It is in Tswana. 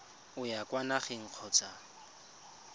o ya kwa nageng kgotsa